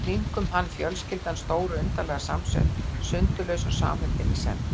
Í kringum hann fjölskyldan, stór og undarlega samsett, sundurlaus og samheldin í senn.